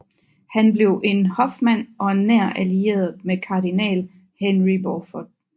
Han blev en hofmand og en nær allieret med kardinal Henry Beaufort